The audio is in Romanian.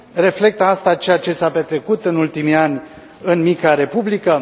Reflectă asta ceea ce s a petrecut în ultimii ani în mica republică?